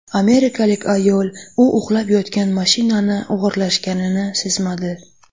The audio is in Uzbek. Amerikalik ayol u uxlab yotgan mashinani o‘g‘irlashganini sezmadi.